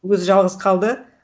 өзі жалғыз қалды